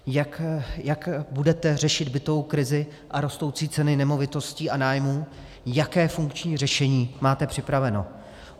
Jak budete řešit bytovou krizi a rostoucí ceny nemovitostí a nájmů, jaké funkční řešení máte připraveno?